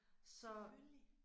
Selvfølgelig